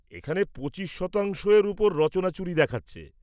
এখানে পঁচিশ শতাংশর ওপর রচনাচুরি দেখাচ্ছে।